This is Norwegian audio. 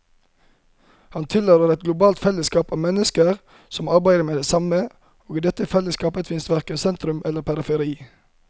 Han tilhører et globalt fellesskap av mennesker som arbeider med det samme, og i dette fellesskapet fins verken sentrum eller periferi.